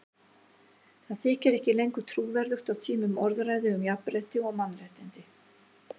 Það þykir ekki lengur trúverðugt á tímum orðræðu um jafnrétti og mannréttindi.